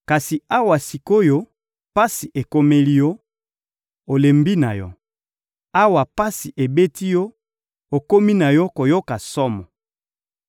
Kasi awa sik’oyo pasi ekomeli yo, olembi na yo! Awa pasi ebeti yo, okomi na yo koyoka somo!